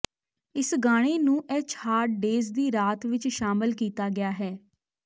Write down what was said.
ਇਸ ਗਾਣੇ ਨੂੰ ਐਚ ਹਾਰਡ ਡੇਜ਼ ਦੀ ਰਾਤ ਵਿਚ ਸ਼ਾਮਲ ਕੀਤਾ ਗਿਆ ਹੈ